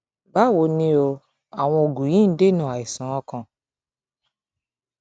bawo ni o àwọn oògùn yìí ń dènà àìsàn ọkàn